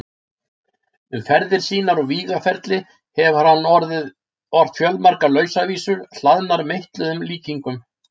Um ferðir sínar og vígaferli hefur hann ort fjölmargar lausavísur, hlaðnar meitluðum líkingum.